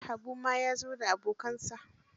Habu ma ya zo da abokansa.